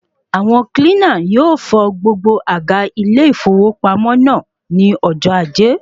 Àwọn kílínà yóò fọ gbogbo àga ilé ìfowópamọ́ naa ní ọjọ́ ajé